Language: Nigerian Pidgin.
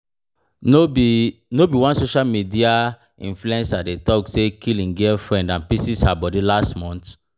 No be No be one social media influencer dem talk say kill im girlfiend and pieces her body last month?